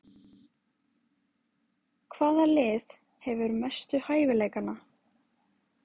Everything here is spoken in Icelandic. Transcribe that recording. Hvaða lið hefur mestu hæfileikana?